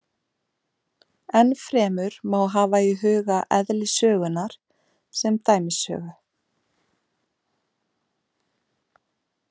Enn fremur má hafa í huga eðli sögunnar sem dæmisögu.